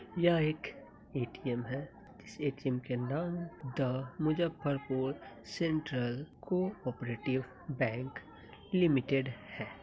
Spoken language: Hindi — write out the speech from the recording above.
यह एक एटीएम है। किसी एटीएम के नाम the Muzaffarpur central cooperative bank limited है।